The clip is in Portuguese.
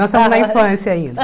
Nós estamos na infância ainda.